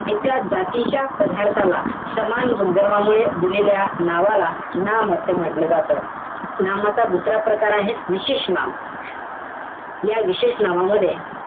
एका जातीच्या पदार्थाला, सामान गुणधर्मामुळे, दिलेल्या नावाला नाम असे म्हंटल जातं. नामाचा दुसरा प्रकार आहे, विशेष नाम. या विशेष नामामध्ये,